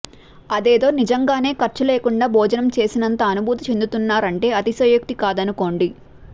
అదేదో నిజంగానే ఖర్చు లేకుండా భోజనం చేసినంత అనుభూతి చెందుతున్నారంటే అతిశయోక్తి కాదనుకోండి